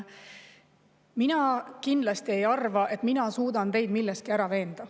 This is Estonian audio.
Mina kindlasti ei arva, et mina suudan teid milleski ära veenda.